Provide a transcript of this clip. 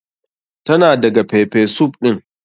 Tana daga pepper soup ɗin.